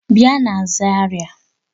Bia na Zaria!